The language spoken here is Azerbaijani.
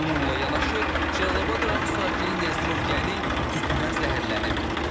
Bununla yanaşı, Cəlilabad rayon sakini Nəzirov Təni tüstüdən zəhərlənib.